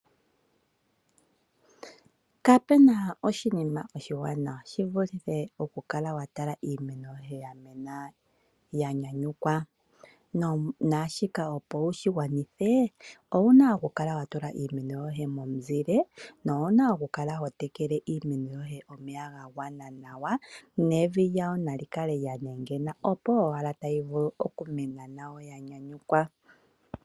Kapuna oshiima oshi wanawa shivuluthe oku kala watala iimeno yoye ya mena nawa yanyanyukwa ,naashika opo wushi gwanathe owuna okukala watula iimeno yeye momuzile no wana pumbwa okukala hotekela iimeno yoye omeya ga gwana nawa nevi lyayo nalikale lya nwngena opo owala talivimulu oku mena nayo yanyanyukwa.